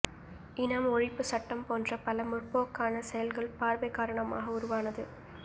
இனாம் ஒழிப்புச் சட்டம் போன்ற பல முற்போக்கான செயல்கள் பார்வை காரணமாக உருவானது